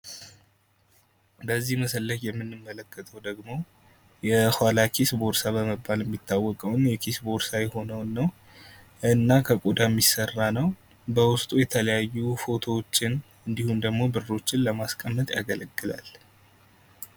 በዚህ ምስል ላይ የምንመለከተው ደግሞ የኋላ ኪስ ቦርሳ በመባል የሚታወቀውን የኪስ ቦርሳ የሆነውን ነው። እና ከቆዳ የሚሰራ ነው። በውስጡ የተለያዩ ፎቶዎችን እንድሁም ደግሞ ብሮችን ለማስቀመጥ ያገለግላል።